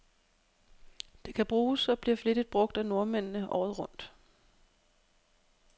Det kan bruges, og bliver flittigt brug af nordmændene, året rundt.